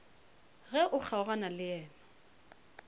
ge o kgaogana le yena